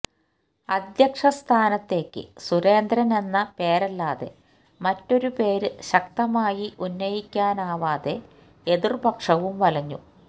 അധ്യക്ഷ സ്ഥാനത്തേക്ക് സുരേന്ദ്രന് എന്ന പേരല്ലാതെ മറ്റൊരു പേര് ശക്തമായി ഉന്നയിക്കാനാവാതെ എതിര്പക്ഷവും വലഞ്ഞു